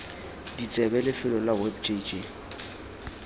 ditsebe lefelo la web jj